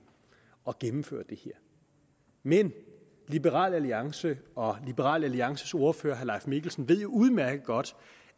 og gennemfører det her men liberal alliance og liberal alliances ordfører herre mikkelsen ved jo udmærket godt